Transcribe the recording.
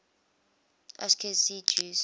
ashkenazi jews